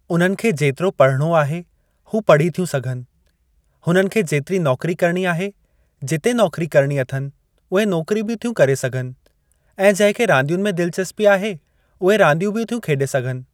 उन्हनि खे जेतिरो पढ़णो आहे हू पढ़ी थियूं सघनि, हुननि खे जेतिरी नौकरी करणी आहे जिते नौकरी करणी अथनि उहे नौकरी बि थियूं करे सघनि ऐं जंहिंखे रांदियुनि में दिलचस्पी आहे उहे रांदियूं बि थियूं खेॾे सघनि।